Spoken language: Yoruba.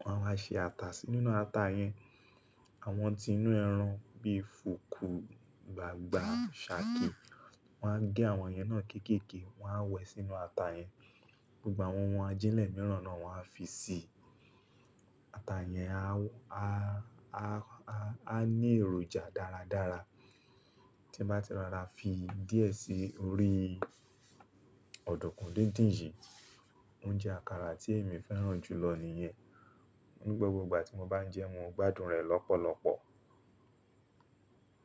Wọ́n á máa ṣe ata síi, nínú ata yẹn, àwọn ti inú ẹran bí i fùkù, gbagba, ṣàkẹ́, wọ́n a gé àwọn yẹn náà kéèkèe, wọ́n a wẹ̀ẹ́ sínú ata yẹn. Gbogbo àwọn ohun ajílẹ̀ mìíràn náà wọ́n a fi sí i. Ata yẹn a á ní èròjà dáradára. Tí mo bá ti rárá fi díẹ̀ sí orí ọ̀dùnkún díndín yìí, oúnjẹ àkàrà tí èmi fẹ́ràn jùlọ nìyẹn. Nígbà gbogbo ìgbà tí mo bá ń jẹ ẹ́, mo ń gbádùn rẹ̀ lọ́pọ̀lọpọ̀.